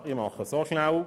Ich mache es kurz: